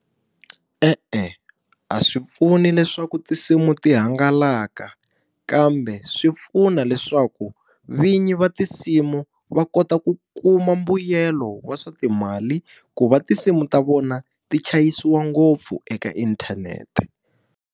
E-e a swi pfuni leswaku tinsimu ti hangalaka, kambe swi pfuna leswaku vinyi va tinsimu va kota ku kuma mbuyelo wa swa timali ku va tinsimu ta vona ti chayisiwa ngopfu eka inthanete.